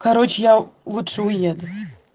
короче я лучше уеду